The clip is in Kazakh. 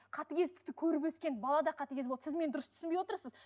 қатыгездікті көріп өскен бала да қатыгез болады сіз мені дұрыс түсінбей отырсыз